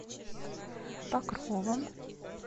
покровом